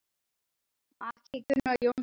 Maki: Gunnar Jónsson bóndi.